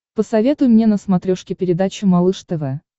посоветуй мне на смотрешке передачу малыш тв